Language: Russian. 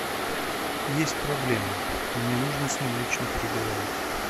есть проблема мне нужно с ним лично переговорить